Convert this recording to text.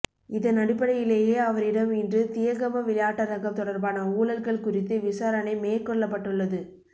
இதன் அடிப்படையிலேயே அவரிடம் இன்று தியகம விளையாட்டரங்கம் தொடர்பான ஊழல்கள் குறித்து விசாரணை மேற்கொள்ளப்பட்டுள்ளது